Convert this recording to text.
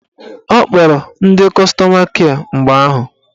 Ọ kpọrọ ndị kọstọma kịe mgbe ahụ